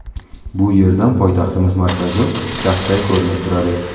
Bu yerdan poytaxtimiz markazi kaftday ko‘rinib turadi.